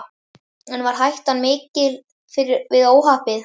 En varð hættan mikil við óhappið?